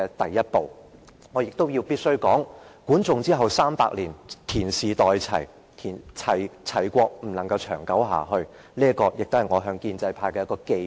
我必須指出，管仲身後300年，田氏代齊，齊國不能長存，這亦是我向建制派的寄語。